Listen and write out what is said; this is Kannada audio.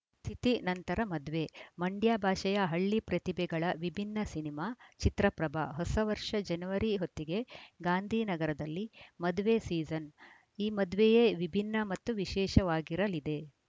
ತಿಥಿ ನಂತರ ಮದ್ವೆ ಮಂಡ್ಯ ಭಾಷೆಯ ಹಳ್ಳಿ ಪ್ರತಿಭೆಗಳ ವಿಭಿನ್ನ ಸಿನಿಮಾ ಚಿತ್ರ ಪ್ರಭ ಹೊಸ ವರ್ಷ ಜನವರಿ ಹೊತ್ತಿಗೆ ಗಾಂಧಿನಗರದಲ್ಲಿ ಮದ್ವೆ ಸೀಸನ್‌ ಈ ಮದ್ವೆಯೇ ವಿಭಿನ್ನ ಮತ್ತು ವಿಶೇಷವಾಗಿರಲಿದೆ